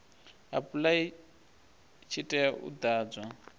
apply tshi tea u ḓadzwa